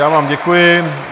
Já vám děkuji.